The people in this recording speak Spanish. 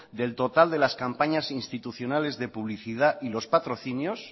del total de las campañas institucionales de publicidad y los patrocinios